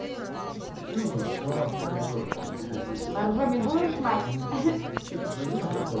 все мои слова повезло тебе привет боржоми будешь мать что ты смотри назад